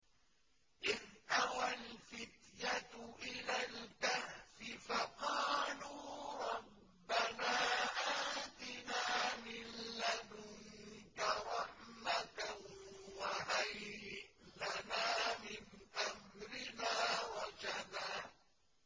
إِذْ أَوَى الْفِتْيَةُ إِلَى الْكَهْفِ فَقَالُوا رَبَّنَا آتِنَا مِن لَّدُنكَ رَحْمَةً وَهَيِّئْ لَنَا مِنْ أَمْرِنَا رَشَدًا